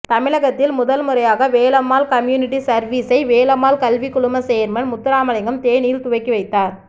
தமிழகத்தில் முதன்முறையாக வேலம்மாள் கம்யூனிட்டி சர்வீசை வேலம்மாள் கல்வி குழும சேர்மன் முத்துராமலிங்கம் தேனியில் துவக்கி வைத்தார்